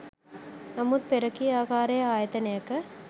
නමුත් පෙර කී ආකාරයේ ආයතනයක